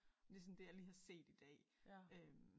Det sådan det jeg lige har set i dag øh